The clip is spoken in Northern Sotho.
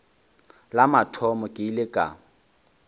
la mathomo ke ile ka